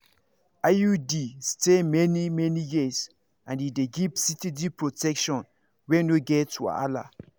iud dey stay many-many years and e dey give steady protection wey no get wahala.